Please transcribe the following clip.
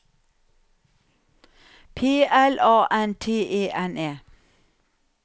P L A N T E N E